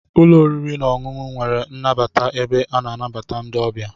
Ụlọ oriri na ọṅụṅụ nwere nnabata ebe a na-anabata ndị ọbịa.